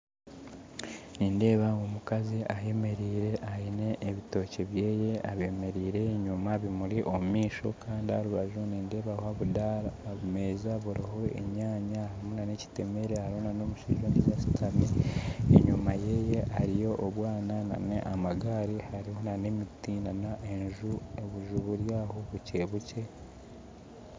Nindeeba omukazi ayemereire aine ebitookye bye abyemereire enyima bimuri omumaisho kandi aharubaju nindeebabo obudaara ebimeeza biriho enyaanya hariho n'ekitemeere hariho n'omushaija ondijo ashuutami enyima ye hariyo obwaana n'amagaari n'emiti hamwe n'obunju burwaho bukye bukye